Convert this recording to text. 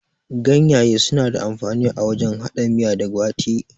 Ganyaye suna da amfani a wajen haɗa miya da gwate